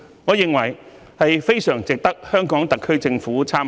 我認為是非常值得香港特區政府參考。